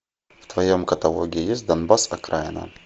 в твоем каталоге есть донбасс окраина